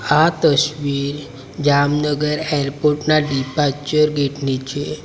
આ તસવીર જામનગર એરપોર્ટ ના ડિપાર્ચર ગેટ ની છે.